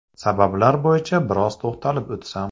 Sabablar bo‘yicha biroz to‘xtalib o‘tsam.